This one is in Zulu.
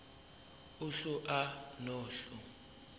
uhlu a nohlu